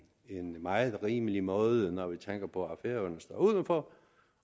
meget rimelig måde når vi tænker på at færøerne står udenfor